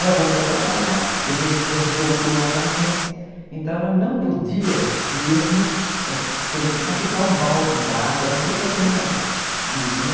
Ela voltou a trabalhar, depois o câncer voltou novamente, então ela não podia mesmo, por exemplo, carregar um balde d'água, não podia fazer nada disso, né?